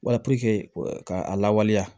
Wala puruke ka a lawaleya